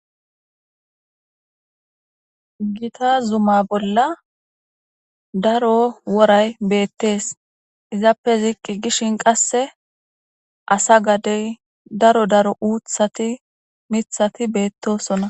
Gita zuma bolla daro woray beettees izappe ziiqqi gishin qasse asa gadey daro daro uuthati mithati beettosona.